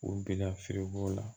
U bɛna fereko la